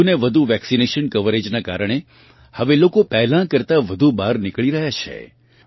વધુને વધુ વેક્સિનેશન કવરેજનાં કારણે હવે લોકો પહેલાં કરતાં વધુ બહાર નિકળી રહ્યાં છે